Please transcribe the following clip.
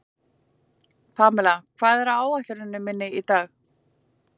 Pamela, hvað er á áætluninni minni í dag?